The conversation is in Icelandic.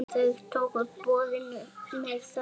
Þau tóku boðinu með þökkum.